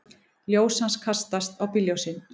Ljós hans kastast á bílljósin.